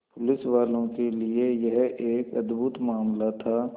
पुलिसवालों के लिए यह एक अद्भुत मामला था